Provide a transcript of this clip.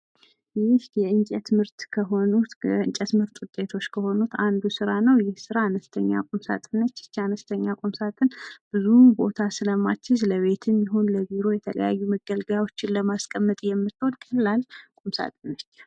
ይህ የእንጨት ምርት ውጤቶች ከሆኑት ሲሆን ይሄ ስራ አነስተኛ ቁምሳጥን ነች። ይቺ አነስተኛ ቁምሳጥን ብዙም ቦታ ስለማቲይዝ ለቤትም ሆነ ለቢሮ የተለያዩ መገልገያዎችን ለማስቀመጥ የምትሆን ቁምሳጥን ነች።